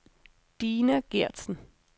Dina Geertsen